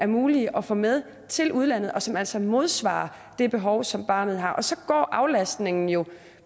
mulige at få med til udlandet og som altså modsvarer det behov som barnet har så går aflastningen jo